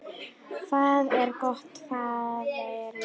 Hvað er gott, faðir minn?